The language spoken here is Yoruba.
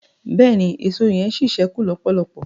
bẹẹni, Èṣó yen sí sẹku lọpọlọpọ